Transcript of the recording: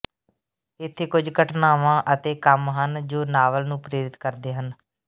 ਇੱਥੇ ਕੁਝ ਘਟਨਾਵਾਂ ਅਤੇ ਕੰਮ ਹਨ ਜੋ ਨਾਵਲ ਨੂੰ ਪ੍ਰੇਰਿਤ ਕਰਦੇ ਹਨ